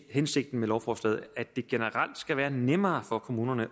hensigten med lovforslaget at det generelt skal være nemmere for kommunerne